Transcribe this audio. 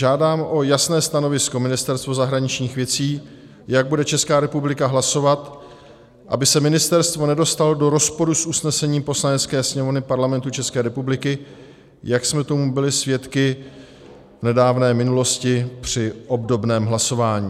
Žádám o jasné stanovisko Ministerstvo zahraničních věcí, jak bude Česká republika hlasovat, aby se ministerstvo nedostalo do rozporu s usnesením Poslanecké sněmovny Parlamentu České republiky, jak jsme tomu byli svědky v nedávné minulosti při obdobném hlasování.